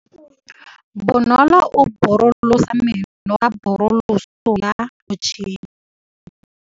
Bonolô o borosola meno ka borosolo ya motšhine.